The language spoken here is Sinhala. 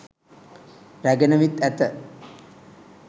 රැගෙන විත් ඇත.